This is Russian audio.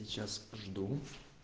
сейчас жду